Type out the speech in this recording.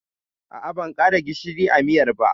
A'a, ban ƙara gishiri a miyar ba.